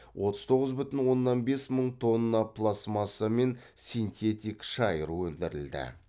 отыз тоғыз бүтін оннан бес мың тонна пластмасса мен синтетик шайыр өндірілді